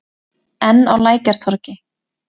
Enn á Lækjartorgi.